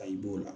Ka i b'o la